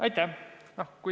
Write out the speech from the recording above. Aitäh!